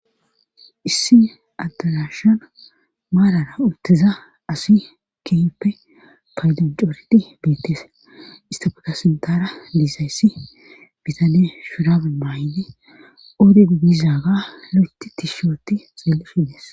issi addalashan maalara uttiza asi kiyppe paydojooridi biittees istafeka sintara liisayssi bitane shirabu baydi odigdizaaga lo7eti tishooti xelli shindees